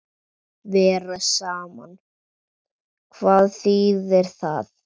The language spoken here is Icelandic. Vera saman, hvað þýðir það?